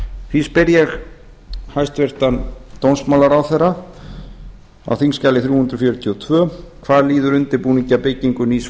því spyr ég hæstvirtan dómsmálaráðherra á þingskjali þrjú hundruð fjörutíu og tvö hvað líður undirbúningi að byggingu nýs